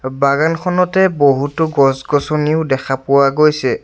বাগানখনতে বহুতো গছ গছনিও দেখা পোৱা গৈছে।